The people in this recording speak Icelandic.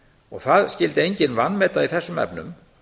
og það skyldi enginn vanmeta í þessum efnum